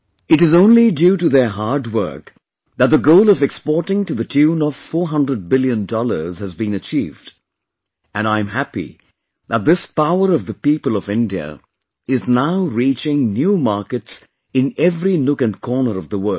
It is only due to their hard work, that the goal of exporting to the tune of 400 billion has been achieved and I am happy that this power of the people of India is now reaching new markets in every nook and corner of the world